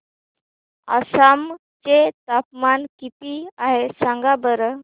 आसाम चे तापमान किती आहे सांगा बरं